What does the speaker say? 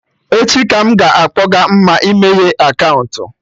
Echi ka m ga-akpọga Mma imeye akaụntụ